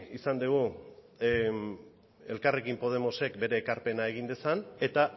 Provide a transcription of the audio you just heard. izan dugu elkarrekin podemosek bere ekarpena egin dezan eta